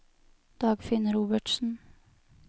Dagfinn Robertsen